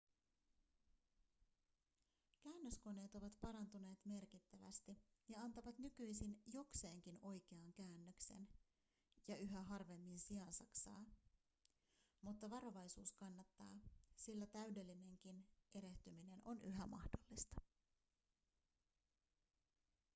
käännöskoneet ovat parantuneet merkittävästi ja antavat nykyisin jokseenkin oikean käännöksen ja yhä harvemmin siansaksaa mutta varovaisuus kannattaa sillä täydellinenkin erehtyminen on yhä mahdollista